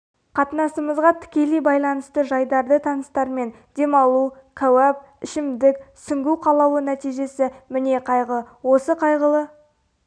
қатынасымызға тікелей байланысты жайдарды таныстармен демалу кәуап ішімдік суңгу қалауы нәтижесі міне қайғы осы қайғылы